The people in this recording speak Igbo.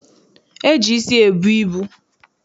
E ji isi ebu ibu.